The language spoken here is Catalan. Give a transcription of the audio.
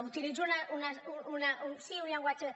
utilitzo un sí un llenguatge